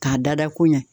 K'a dada koɲɛ